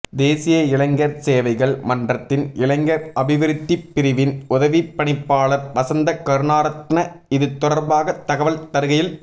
தேசிய இளைஞர் சேவைகள் மன்றத்தின் இளைஞர் அபிவிருத்திப் பிரிவின் உதவிப் பணிப்பாளர் வசந்த கருணாரத்ன இதுதொடர்பாக தகவல் தருகையில்